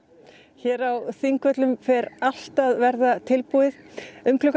hér á Þingvöllum fer allt að verða tilbúið um klukkan